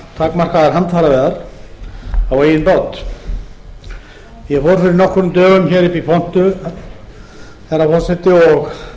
takmarkaðar handfæraveiðar á eigin bát ég fór fyrir nokkrum dögum upp í pontu herra forseti og